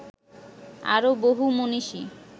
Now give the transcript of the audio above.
আরও বহু মনীষী